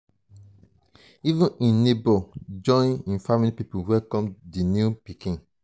even im nebors join im family pipo welcome di new pikin.